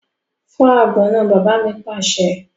Fọ́ àgbọn náà! Bàbá mi pàṣẹ.